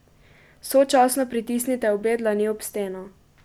Sočasno pritisnite obe dlani ob steno.